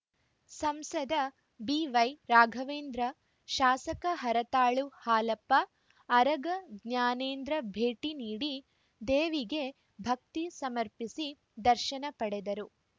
ಸಂಸದ ಬಿವೈರಾಘವೇಂದ್ರ ಶಾಸಕ ಹರತಾಳು ಹಾಲಪ್ಪ ಅರಗ ಜ್ಞಾನೇಂದ್ರ ಭೇಟಿ ನೀಡಿ ದೇವಿಗೆ ಭಕ್ತಿ ಸಮರ್ಪಿಸಿ ದರ್ಶನ ಪಡೆದರು